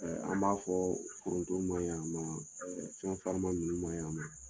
An b'a fɔ foronto ma yan ɛ fɛn farima minnu ma yan nɔ